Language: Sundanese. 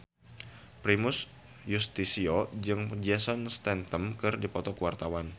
Primus Yustisio jeung Jason Statham keur dipoto ku wartawan